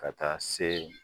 Ka taa se